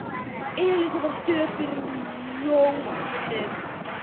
Elísa var döpur í rómnum.